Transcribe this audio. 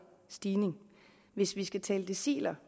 stigning hvis vi skal tale deciler